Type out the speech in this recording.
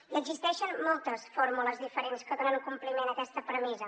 i existeixen moltes fórmules diferents que donen compliment a aquesta premissa